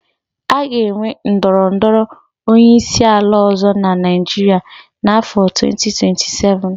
A ga-enwe ndọrọ ndọrọ onyeisiala ọ̀zọ́ na Naịjiria n'áfọ 2027.